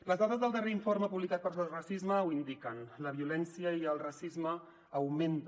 les dades del darrer informe publicat per sos racisme ho indiquen la violència i el racisme augmenten